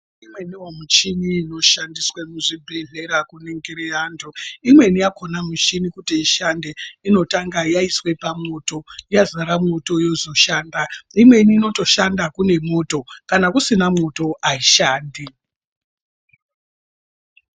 Imweniwo michini inoshandiswe muzvibhedhlera kuningire antu, imweni yakhona mishini kuti ishande inotanga yayiswe pamoto, yazara moto yozvoshanda. Imweni inotoshanda kunemoto. Kana kusina moto ayishandi.